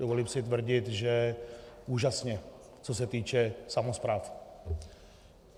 Dovolím si tvrdit, že úžasně, co se týče samospráv.